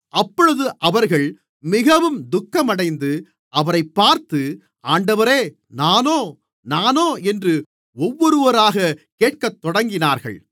அப்பொழுது அவர்கள் மிகவும் துக்கமடைந்து அவரைப் பார்த்து ஆண்டவரே நானோ நானோ என்று ஒவ்வொருவராகக் கேட்கத்தொடங்கினார்கள்